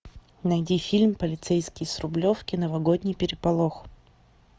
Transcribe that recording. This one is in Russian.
найди фильм полицейский с рублевки новогодний переполох